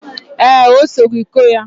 Ee, o sogi ku ya.